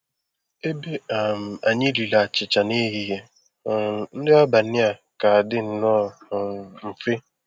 Ebe um anyị riri achịcha n'ehihie, um nri abalị a ga-adị nnọọ um mfe.